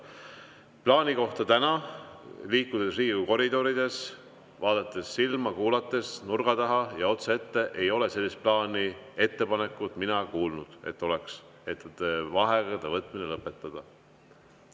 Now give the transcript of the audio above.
Tänase plaani kohta: liikudes Riigikogu koridorides, vaadates silma, kuulates nurga taha ja otse ette, ei ole mina sellisest plaanist, ettepanekust kuulnud, et vaheaegade võtmine lõpetada.